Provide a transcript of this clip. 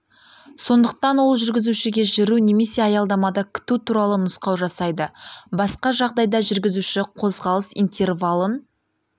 сондықтан ол жүргізушіге жүру немесе аялдамада күту туралы нұсқау жасайды басқа жағдайда жүргізуші қозғалыс интервалын